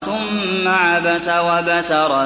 ثُمَّ عَبَسَ وَبَسَرَ